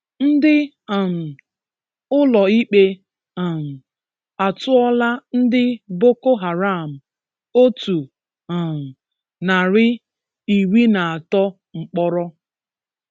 Ndị um Ụlọikpe um atụọla ndị Boko Haram otu um narị, iri na atọ mkpọrọ.